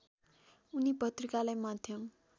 उनी पत्रिकालाई माध्यम